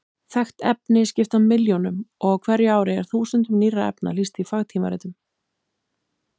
Þekkt efni skipta milljónum og á hverju ári er þúsundum nýrra efna lýst í fagtímaritum.